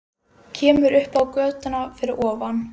Kemur upp á götuna fyrir ofan.